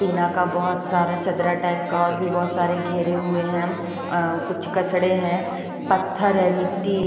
टीना का बहोत सारा चदरा टाइप का और भी बहुत सारे घेरे हुए हैं कुछ कचड़े हैं पत्थर है मिट्टी--